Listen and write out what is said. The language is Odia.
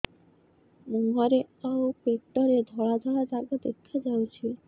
ମୁହଁରେ ଆଉ ପେଟରେ ଧଳା ଧଳା ଦାଗ ଦେଖାଯାଉଛି